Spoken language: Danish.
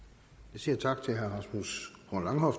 siger tak til herre rasmus horn langhoff